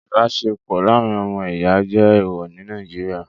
Ìbáṣepọ̀ láàrín ọmọ ìyá jẹ́ ẹ̀ẹ̀wọ̀ ní Nàìjíríà